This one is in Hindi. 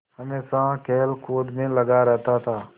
हमेशा खेलकूद में लगा रहता था